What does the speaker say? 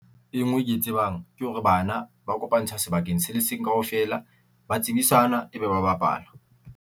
E ngwe ke e tsebang ke hore bana ba kopantsha sebakeng se le seng kaofela, ba tsebisanwa ebe ba bapala.